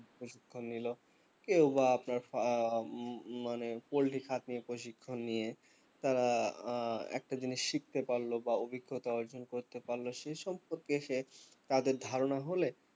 প্রশিক্ষণ নিলো কেউ বা আপনার ফা হম হম মানে পোল্ট্রী farm নিয়ে প্রশিক্ষণ নিয়ে তারা উহ একটা জিনিস শিখতে পারলো বা অভিজ্ঞতা অর্জন করতে পারলো সে সম্পর্কে সে তাদের ধারণা হলে